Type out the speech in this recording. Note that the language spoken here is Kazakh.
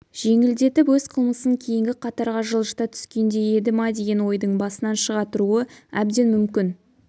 жеңілдетіп өз қылмысын кейінгі қатарға жылжыта түскендей еді па деген ойдың басынан шыға тұруы әбден мүмкін